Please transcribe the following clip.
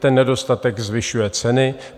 Ten nedostatek zvyšuje ceny.